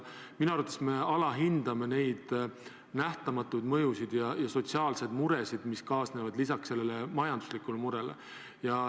Minu arvates me alahindame neid nähtamatuid mõjusid ja sotsiaalseid muresid, mis kaasnevad majandusliku murega.